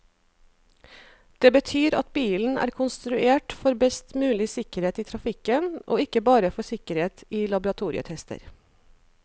Det betyr at bilen er konstruert for best mulig sikkerhet i trafikken, og ikke bare for sikkerhet i laboratorietester.